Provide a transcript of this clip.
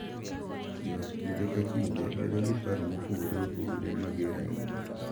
Jo ot kinde ka kinde bedo gi paro mopogore opogore mager ahinya,